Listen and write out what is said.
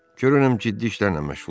Görürəm ciddi işlərlə məşğulsuz.